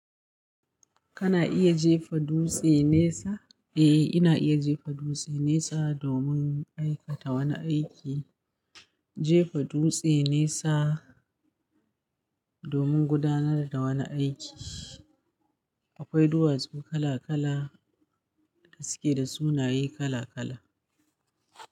Kana iya jefa dutse nesa? Eh, ina iya jefa dutse nesa domin aikata wani aiki. Jefa dutse nesa domin gudanar da wani aiki. Akwai duwatsu kala kala da suke da sunaye kala kala.